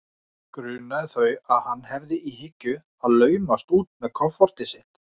Grunaði þau að hann hefði í hyggju að laumast út með kofortið sitt?